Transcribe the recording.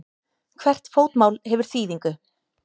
Hvert fótmál hefur þýðingu.